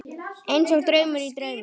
Einsog draumur í draumi.